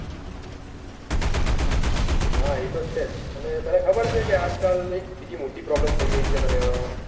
હા એતો છે જ ને તને ખબર છે કે આજકાલ બૌ મોટી problem થઇ ગયી છે પર્યાવરણ માં